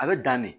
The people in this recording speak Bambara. A bɛ dan ne